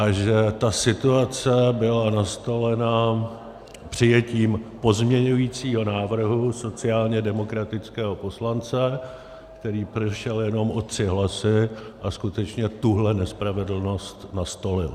A že ta situace byla nastolena přijetím pozměňovacího návrhu sociálně demokratického poslance, který prošel jenom o tři hlasy a skutečně tuhle nespravedlnost nastolil.